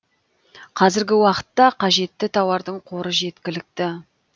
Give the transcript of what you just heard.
қазіргі уақытта қажетті тауардың қоры жеткілікті